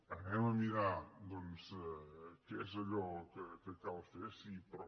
anem a mirar doncs què és allò que cal fer sí però